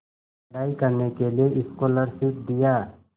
पढ़ाई करने के लिए स्कॉलरशिप दिया